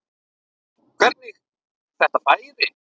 Hvernig þetta færi.